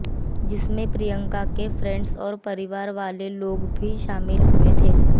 जिसमें प्रियंका के फ्रेंड्स और परिवार वाले लोग शामिल हुए थे